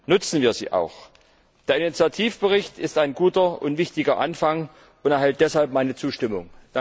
Nutzen wir sie auch! Der Initiativbericht ist ein guter und wichtiger Anfang und erhält deshalb meine Zustimmung!